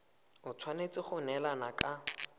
e tshwanetse go neelana ka